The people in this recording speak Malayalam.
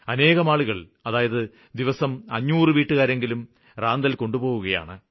അനേകം ആളുകള് അതായത് ദിവസവും 500 വീട്ടുകാരെങ്കിലും റാന്തല് കൊണ്ടുപോകുകയാണ്